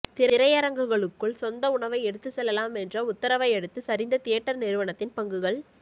திரையரங்குகளுக்குள் சொந்த உணவை எடுத்துச் செல்லலாம் என்ற உத்தரவையடுத்து சரிந்த தியேட்டர் நிறுவனத்தின் பங்குகள்